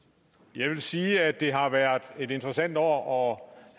jeg vil sige at det har været et interessant år